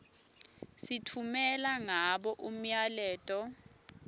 sitfumela ngabo umyaleto